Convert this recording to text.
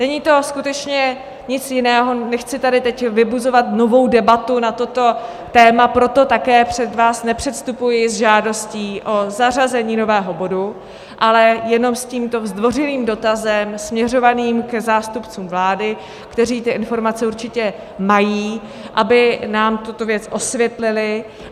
Není to skutečně nic jiného, nechci tady teď vybuzovat novou debatu na toto téma, proto také před vás nepředstupuji s žádostí o zařazení nového bodu, ale jenom s tímto zdvořilým dotazem směřovaným k zástupcům vlády, kteří ty informace určitě mají, aby nám tuto věc osvětlili.